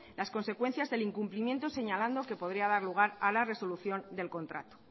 las consecuencias del incumplimiento señalando que podría dar lugar a la resolución del contrato